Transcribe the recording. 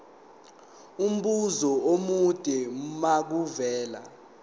umbuzo omude makuvele